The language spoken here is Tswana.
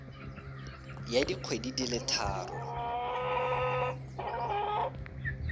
ya dikgwedi di le tharo